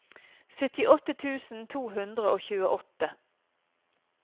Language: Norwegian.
syttiåtte tusen to hundre og tjueåtte